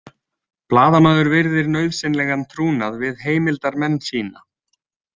Blaðamaður virðir nauðsynlegan trúnað við heimildarmenn sína.